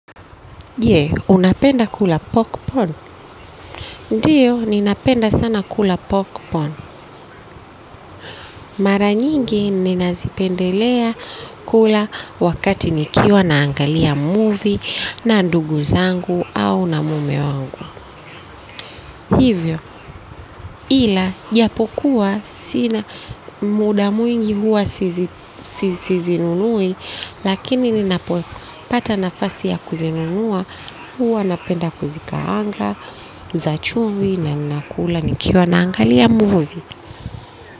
Je, unapenda kula popcorn? Ndio ninapenda sana kula popcorn. Mara nyingi ninazipendelea kula wakati nikiwa naangalia muvi na ndugu zangu au na mume wangu. Hivyo, ila, japo kuwa, sina muda mwingi huwa sizinunui, lakini ninapopata nafasi ya kuzinunua, huwa napenda kuzikaanga, za chumvi, na nina kula nikiwa naangalia muvi.